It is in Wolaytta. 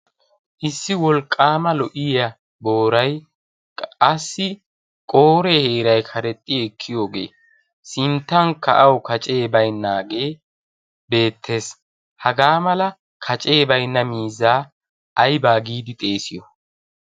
issi wolqqaama lo'iya boorai qassi qooree heerai karexxi ekkiyoogee sinttan ka'awu kacee baynnaagee beettees. hagaa mala kacee bainna miizzaa aibaa giidi xeesiyo?